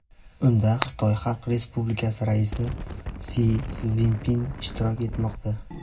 Unda Xitoy Xalq Respublikasi raisi Si Szinpin ishtirok etmoqda.